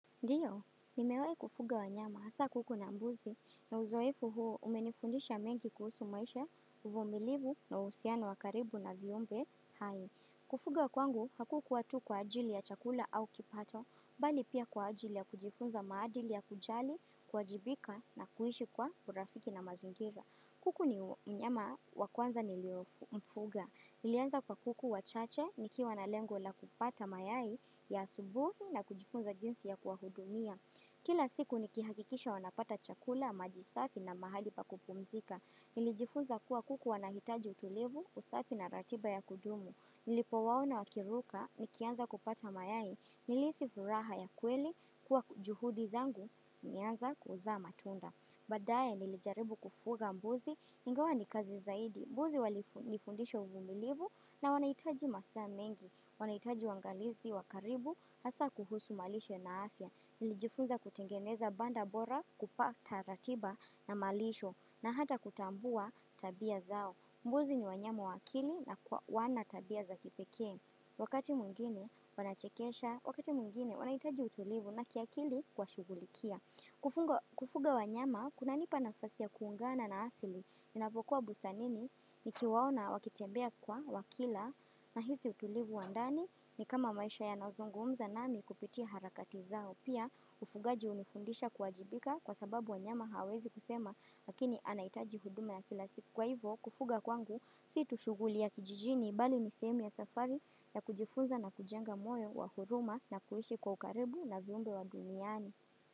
Ndio, nimewai kufuga wa nyama, haswa kuku na mbuzi, na uzoefu huo umenifundisha mengi kuhusu maisha, uvumilivu na uhusiano wakaribu na viumbe, hai Kufuga kwangu, hakukuwa tu kwa ajili ya chakula au kipato, bali pia kwa ajili ya kujifunza maadili ya kujali, kuwajibika na kuishi kwa urafiki na mazingira. Kuku ni mnyama wakwanza niliomfuga. Nilianza kwa kuku wachache, nikiwa na lengo la kupata mayai ya asubuhi na kujifunza jinsi ya kuwahudumia. Kila siku nikihakikisha wanapata chakula, maji safi na mahali pa kupumzika. Nilijifunza kuwa kuku wanahitaji utulivu, usafi na ratiba ya kudumu. Nilipo waona wakiruka, nikianza kupata mayai, nilihisi furaha ya kweli, kuwa juhudi zangu, zimeanza kuzaa matunda. Badaye nilijaribu kufuga mbuzi ingawa ni kazi zaidi. Mbuzi walinifundisha uvumilivu na wanahitaji masaa mengi. Wanahitaji uangalizi wakaribu hasa kuhusu malishe na afya. Nilijifunza kutengeneza banda bora kupata ratiba na malisho na hata kutambua tabia zao. Mbuzi ni wanyama wa akili na wana tabia za kipekee. Wakati mwingine wanachekesha, wakati mwingine wanaitaji utulivu na kiakili kuwashugulikia. Kufuga wanyama, kuna nipa nafasi ya kuungana na asili. Ninapokuwa busanini, nikiwaona wakitembea kwa wakila na hizi utulivu wandani ni kama maisha ya nazongo umza nami kupiti harakatizao. Pia, ufugaji hunifundisha kuwajibika kwa sababu wanyama hawawezi kusema, lakini anahitaji huduma ya kila siku kwa hivo. Kufuga kwangu sio tu shughuli ya kijijini bali ni sehemu ya safari ya kujifunza na kujenga moyo wa huruma na kuishi kwa ukaribu na viumbe wa duniani.